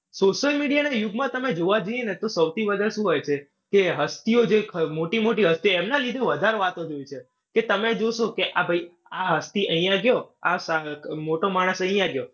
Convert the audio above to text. social media ના યુગમાં તમે જોવા જઈએ ને સૌથી વધારે શું હોઈ છે કે હસ્તીઓ જે મોટી-મોટી હસ્તીઓ હોઈ એમના લીધે વધારે વાતો જોઈ છે. કે તમે જોશે કે આ ભઈ આ હસ્તી અહીયાં ગયો, આ મોટો માણસ અહીયાં ગયો.